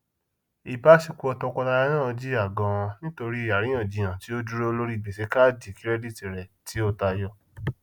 ìbáṣepọ tọkọtaya náà jìyà ganan nítorí àríyànjiyàn tí ó dúró lórí gbèsè káàdì kirẹdítì rẹ tí ó tayọ